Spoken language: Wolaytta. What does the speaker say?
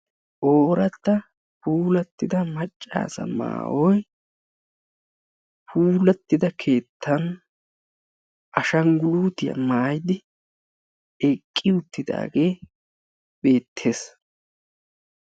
Oorata puulattida maccasa maayyoy puulattida keettan ashanggulutiya maayyidi eqqi uttidaage beettees.